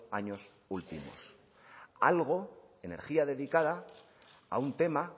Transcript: años últimos algo energía dedicada a un tema